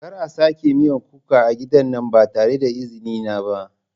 Kar a sake miyan kuka a gidan nan ba tare da izini na ba.